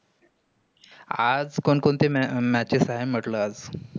आज कोण कोणते matches आहे? म्हटलं आज.